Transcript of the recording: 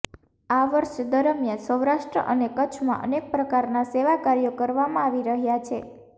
આ વર્ષ દરમિયાન સૌરાષ્ટ્ર અને કચ્છમાં અનેક પ્રકારના સેવાકાર્યો કરવામાં આવી રહ્યા છે